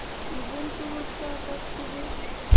Ipun tukuk chotok tukul.